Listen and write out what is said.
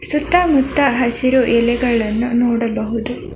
ಸುತ್ತ ಮುತ್ತ ಹಸಿರು ಎಲೆಗಳನ್ನು ನೋಡಬಹುದು.